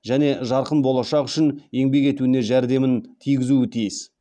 және жарқын болашақ үшін еңбек етуіне жәрдемін тигізуі тиіс